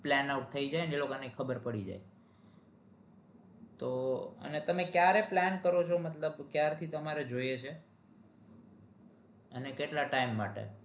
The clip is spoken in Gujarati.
planout થઇ જાય એ લોકો ને ખબર પડી જાય તો તમે કયારે plan કરો છો મતલબ કે કયારથી તમારે જોઈએ છીએ અને કેટલા time માટે?